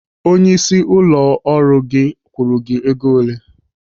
Onyeisi ụlọ ọ kwụrụ gị ego ole?